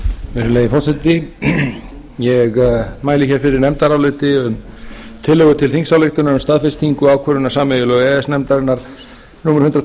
virðulegi forseti ég mæli hér fyrir nefndaráliti um tillögu til þingsályktunar um staðfestingu ákvörðunar sameiginlegu e e s nefndarinnar númer hundrað